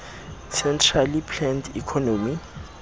centrally planned economy